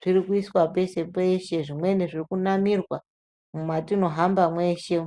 zvirikuiswa peshe-peshe. Zvimweni zvirikunamirwa mwatinohamba mweshe.